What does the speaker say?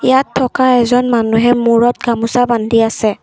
ইয়াত থকা এজন মানুহে মূৰত গামোচা বান্ধি আছে।